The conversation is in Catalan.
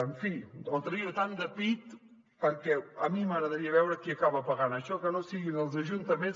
en fi no trauria tant de pit perquè a mi m’agradaria veure qui acaba pagant això que no siguin els ajuntaments